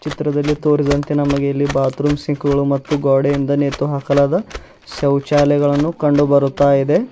ಚಿತ್ರದಲ್ಲಿ ತೋರಿದಂತೆ ನಮಗೆ ಇಲ್ಲಿ ಬಾತ್ರೂಮ್ ಸಿಂಕ್ಗಳು ಮತ್ತು ಗೋಡೆಯಿಂದ ನೇತು ಹಾಕಲಾದ ಶೌಚಾಲಯಗಳನ್ನು ಕಂಡು ಬರುತ್ತ ಇದೆ.